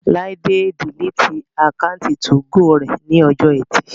Láídé diliti àkáùntì 2go rẹ̀ ní ọjọ́ ẹtì